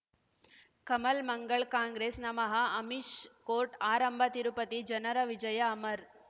Kamal Mangal Congress ನಮಃ Amish court ಆರಂಭ ತಿರುಪತಿ ಜನರ ವಿಜಯ ಅಮರ್